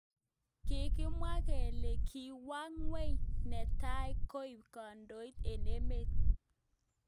Kikimwa kele kikwei kwony netai koek kandoin eng emet.